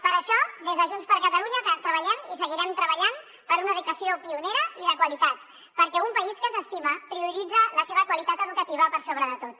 per això des de junts per catalunya treballem i seguirem treballant per una educació pionera i de qualitat perquè un país que s’estima prioritza la seva qualitat educativa per sobre de tot